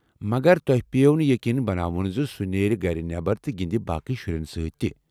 مگر تۄہہ پیٚیو نہٕ ییٚقیٖن بناوُن زِ سُہ نیرِ گرِ نٮ۪بر تہٕ گِندِ باقی شُرٮ۪ن سۭتۍ تِہ۔